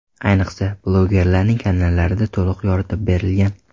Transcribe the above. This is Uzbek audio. Ayniqsa, blogerlarning kanallarida to‘liq yoritib berilgan.